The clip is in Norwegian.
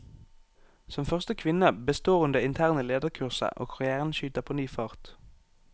Som første kvinne består hun det interne lederkurset, og karrièren skyter på ny fart.